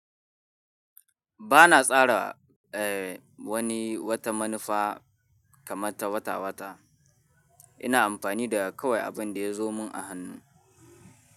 Bana tsara, eh, wani wata manufa kamar ta wata-wata. Ina amfani da kawai abin da ya zo mun a hannu.